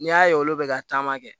N'i y'a ye olu bɛ ka taama kɛ